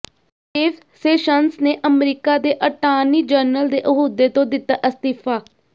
Jeff Sessions ਨੇ America ਦੇ attorney general ਦੇ ਅਹੁਦੇ ਤੋਂ ਦਿੱਤਾ ਅਸਤੀਫਾ